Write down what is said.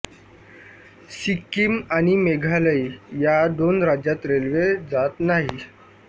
सिक्किम आणि मेघालय या दोन राज्यात रेल्वे जात नाही